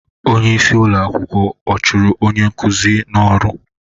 Onye isi ụlọ akwụkwọ ọ chụrụ onye nkuzi n'ọrụ?